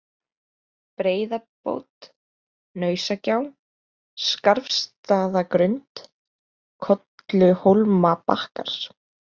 Breiðabót, Hnausagjá, Skarfsstaðagrund, Kolluhólmabakkar